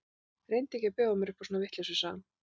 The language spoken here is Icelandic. Reyndu ekki að bjóða mér upp á svona vitleysu, sagði hann.